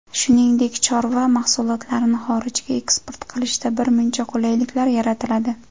Shuningdek, chorva mahsulotlarini xorijga eksport qilishda birmuncha qulayliklar yaratiladi.